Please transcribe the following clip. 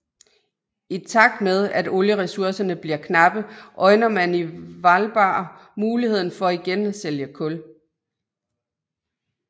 I takt med at olieressourcerne bliver knappe øjner man i Hvalba muligheden for igen at sælge kul